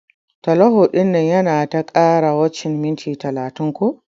Teleho ɗinnan yana ta kara wuche minti talatin ko.